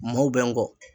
Maw bɛ n kɔ